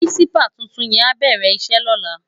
Pirinsipá tútún yèn á bèrè isè lòlá